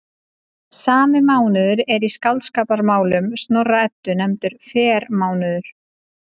Sami mánuður er í Skáldskaparmálum Snorra-Eddu nefndur frermánuður.